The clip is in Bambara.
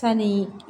Sanni